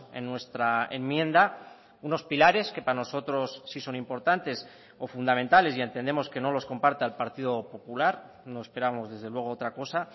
en nuestra enmienda unos pilares que para nosotros sí son importantes o fundamentales y entendemos que no los comparta el partido popular no esperamos desde luego otra cosa